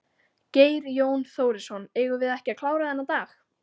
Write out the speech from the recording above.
Geir Jón Þórisson: Eigum við ekki að klára þennan dag?